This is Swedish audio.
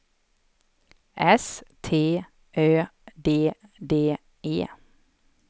S T Ö D D E